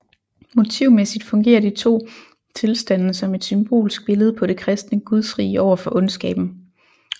Motivmæssigt fungerer de to tilstande som et symbolsk billede på det kristne gudsrige overfor ondskaben